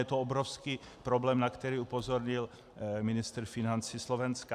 Je to obrovský problém, na který upozornil ministr financí Slovenska.